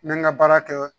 N bɛ n ka baara kɛ